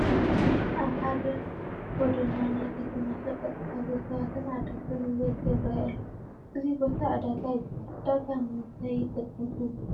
ኣብ ሓደ ጐደና ናይ ከተማ ሸቐጥ ዝሓዙ ሰባትን ዓደግትን ብብዝሒ ይርአዩ ኣለዉ፡፡ እዚ ቦታ ዕዳጋ ይበሃል፡፡ ዕዳጋ ንምንታይ ይጠቅም ትብሉ?